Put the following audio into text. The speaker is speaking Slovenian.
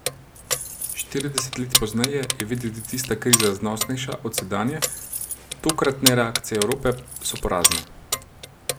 Štirideset let pozneje je videti tista kriza znosnejša od sedanje, tokratne reakcije Evrope so porazne.